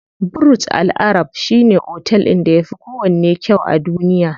Burj Al arab shine otel ɗin da yafi kowanne kyau a duniya.